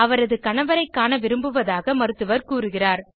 அவரது கணவரை காண விரும்புவதாக மருத்துவர் கூறுகிறார்